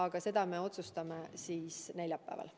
Ent seda me otsustame neljapäeval.